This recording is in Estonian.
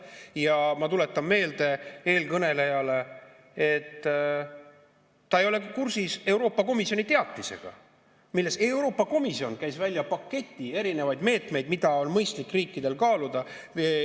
Ja ma tuletan meelde eelkõnelejale, et ta ei ole kursis Euroopa Komisjoni teatisega, milles Euroopa Komisjon käis välja paketi erinevaid meetmeid, mida on mõistlik riikidel kaaluda.